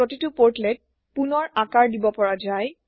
প্ৰতিতো portlet পুণৰ আকাৰ দিব পৰা যায়